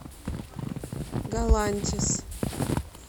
галантис